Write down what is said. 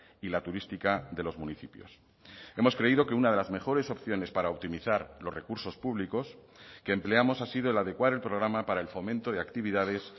y la turística de los municipios hemos creído que una de las mejores opciones para optimizar los recursos públicos que empleamos ha sido el adecuar el programa para el fomento de actividades